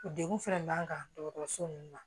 Degun fɛnɛ b'an kan dɔgɔtɔrɔso nunnu na